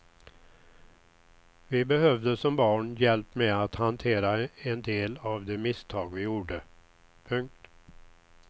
Vi behövde som barn hjälp med att hantera en del av de misstag vi gjorde. punkt